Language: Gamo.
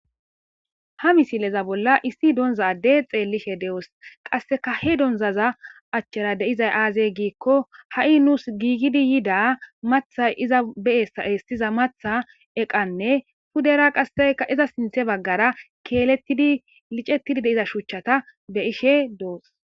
Ha misileza bolla issi donza addey xeellishe de'os qasseka he donzaza achchara deizay aazey giikko ha'i nuus giigidi yida matha iza beea eestiza matha eqanne pudera qasseeyka iza sinthe baggara keeletidi licettidi deiza shuchchata be ishe doos.